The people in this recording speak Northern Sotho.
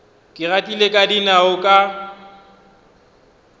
ke gatile ka dinao ka